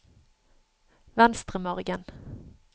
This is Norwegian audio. Venstremargen